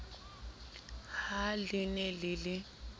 ha le ne le le